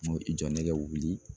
Ne ko i jɔ ne ka wili